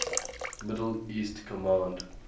middle east command